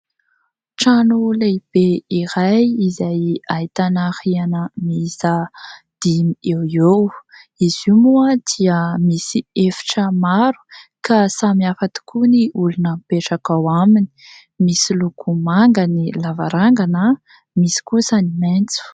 Trano lehibe iray izay ahitana rihana miisa dimy eoeo, izy io moa dia misy efitra maro ka samy hafa tokoa ny olona mipetraka ao aminy. Misy loko manga ny lavarangana, misy kosa ny maitso.